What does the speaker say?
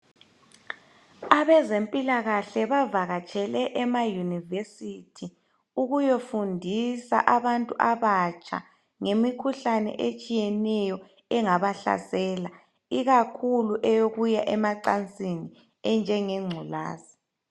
Abezempilakahle bavakatshele emayunivesithi ukuya fundisa abatsha ngemikhuhlane etshiyeneyo ikakhulu eyemacansini enjengengculaza.